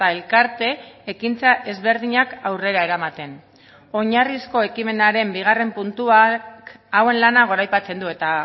elkarte ekintza ezberdinak aurrera eramaten oinarrizko ekimenaren bigarren puntuak hauen lana goraipatzen du eta